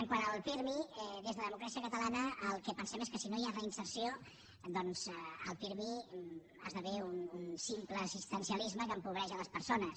quant al pirmi des de democràcia catalana el que pensem és que si no hi ha reinserció doncs el pirmi esdevé un simple assistencialisme que empobreix les persones